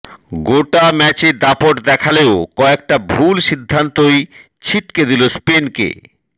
গোটা ম্যাচে দাপট দেখালেও কয়েকটা ভুল সিদ্ধান্তই ছিটকে দিল স্পেনকে